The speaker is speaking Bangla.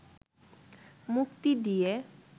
মুক্তি দিয়ে